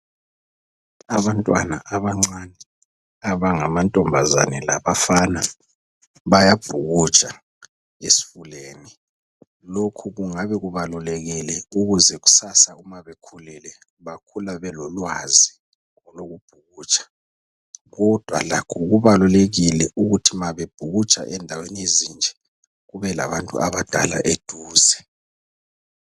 Abantwana abancane abangamantombazane labafana bayabhukutsha esifuleni. Lokhu kungabe kubalulekile ukuze kusasa uma bekhulile bakhula belolwazi lokubhukutsha kodwa lakho kubalulekile ukuthi ma bebhukutsha endaweni ezinje kube labantu abadala eduze.